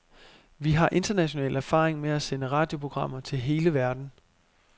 Vi har international erfaring med at sende radioprogrammer til hele verden.